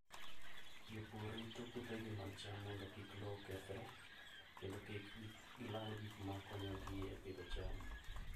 Jopur rito puothegi mag cham mondo kik lowo okethre, kendo kik gilal gik makonyogi e pidho cham.